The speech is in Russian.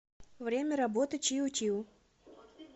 время работы чио чио